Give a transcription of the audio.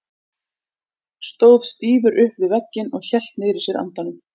Stóð stífur upp við vegginn og hélt niðri í sér andanum.